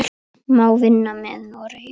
Má vinna með Noregi?